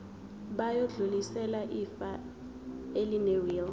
bayodlulisela ifa elinewili